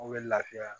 O bɛ lafiya